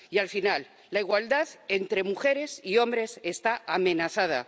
Y, para terminar, la igualdad entre mujeres y hombres está amenazada.